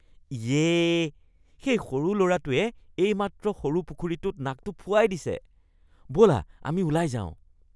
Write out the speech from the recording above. ইয়ে! সেই সৰু ল'ৰাটোৱে এইমাত্ৰ সৰু পুখুৰীটোত নাকটো ফুৱাই দিছে। ব'লা আমি ওলাই যাওঁ।